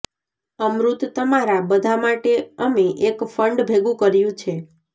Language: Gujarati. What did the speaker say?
અમૃત તમારા બધા માટે અમે એક ફંડ ભેગું કર્યું છે